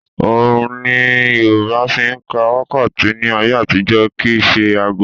Òòrun ni Yorùbá fi ń ka wákàtí ní ayé àtijọ́ kì í ṣe aago